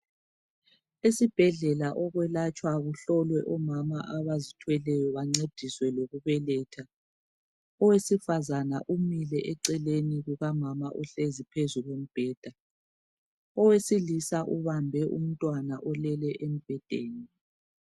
Esibhedlela okwelatshwa kuhlolwe omama abazithwelayo bancediswe lokubeletha, owesifazana umile eceleni kukamama ohlezi phezu kombheda, owesilisa ubambe umntwana olele embhedeni.